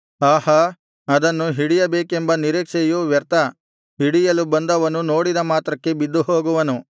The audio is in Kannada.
ಆಹಾ ಅದನ್ನು ಹಿಡಿಯಬೇಕೆಂಬ ನಿರೀಕ್ಷೆಯು ವ್ಯರ್ಥ ಹಿಡಿಯಲು ಬಂದವನು ನೋಡಿದ ಮಾತ್ರಕ್ಕೆ ಬಿದ್ದು ಹೋಗುವನು